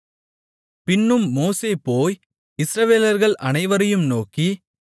பின்னும் மோசே போய் இஸ்ரவேலர்கள் அனைவரையும் நோக்கி